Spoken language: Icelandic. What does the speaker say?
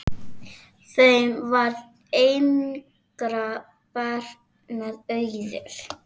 Þeim varð engra barna auðið.